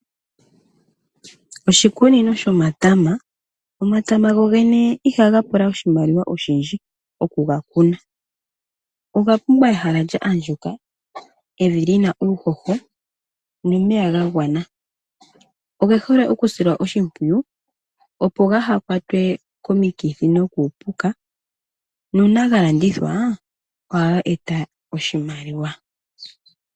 Oshikunino shomatama Omatama go gene ihaga pula oshimaliwa oshindji oku ga kuna. Oga pumbwa ehala lya andjuka, evi lyi na uuhoho, nomeya ga gwana. Oge hole okusilwa oshimpwiyu opo ga ha kwatwe komikithi nokuupuka, na uuna ga landithwa; ohaga eta oshimaliwa.